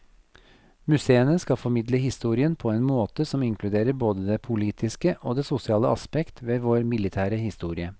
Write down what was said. Museene skal formidle historien på en måte som inkluderer både det politiske og det sosiale aspekt ved vår militære historie.